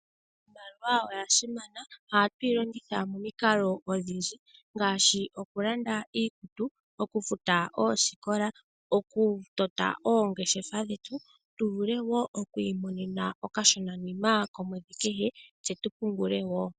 Iimaliwa oya simana. Ohatu yi longitha momikalo odhindji ngaashi ikulanda iikutu. Oku futa oosikola ,oku tota oongeshefa dhetu tu vule woo oku imonena okashonanima komwedhi kehe tse tu pungule woo.